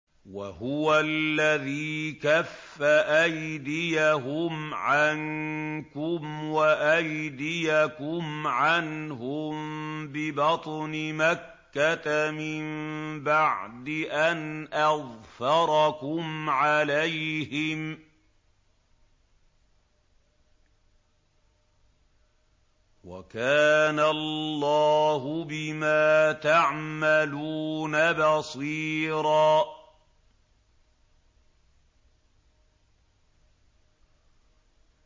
وَهُوَ الَّذِي كَفَّ أَيْدِيَهُمْ عَنكُمْ وَأَيْدِيَكُمْ عَنْهُم بِبَطْنِ مَكَّةَ مِن بَعْدِ أَنْ أَظْفَرَكُمْ عَلَيْهِمْ ۚ وَكَانَ اللَّهُ بِمَا تَعْمَلُونَ بَصِيرًا